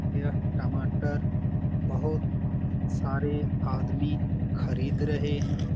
यह टमाटर बहुत सारे आदमी खरीद रहें हैं।